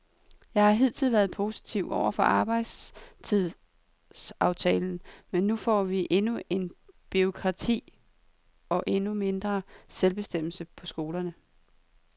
Jeg har hidtil været positiv over for arbejdstidsaftalen, men nu får vi endnu mere bureaukrati og endnu mindre selvbestemmelse på skolerne.